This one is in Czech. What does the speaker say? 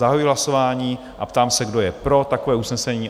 Zahajuji hlasování a ptám se, kdo je pro takové usnesení?